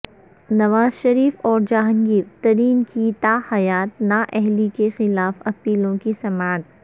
نواز شریف اور جہانگیر ترین کی تا حیات نا اہلی کے خلاف اپیلوں کی سماعت